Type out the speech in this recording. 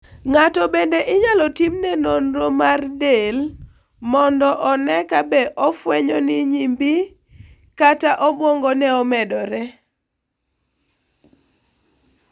Ng'ato bende inyalo timne nonro mar del mondo one kabe ofwenyo ni nyimbi kata obwongone omedore.